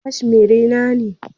Cashmere na ne